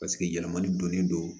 Paseke yɛlɛmali donnen don